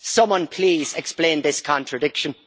Someone please explain this contradiction.